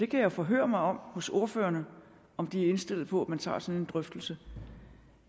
kan forhøre mig hos ordførerne om de er indstillet på at man tager sådan en drøftelse